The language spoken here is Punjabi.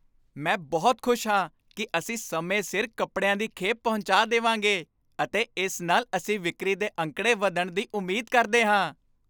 ਮੈਂ ਬਹੁਤ ਖੁਸ਼ ਹਾਂ ਕਿ ਅਸੀਂ ਸਮੇਂ ਸਿਰ ਕੱਪੜਿਆਂ ਦੀ ਖੇਪ ਪਹੁੰਚਾ ਦੇਵਾਂਗੇ ਅਤੇ ਇਸ ਨਾਲ ਅਸੀਂ ਵਿਕਰੀ ਦੇ ਅੰਕੜੇ ਵੱਧਣ ਦੀ ਉਮੀਦ ਕਰਦੇ ਹਾਂ।